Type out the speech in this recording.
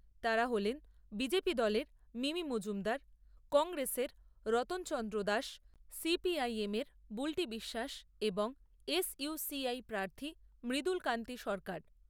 তাঁরা হলেন বিজেপি দলের মিমি মজুমদার, কংগ্রেস এর Ratanchandra Das , C P I M এর বুল্টি বিশ্বাস এবং এস ইউ সি আই প্রার্থী মৃদুলকান্তি সরকার।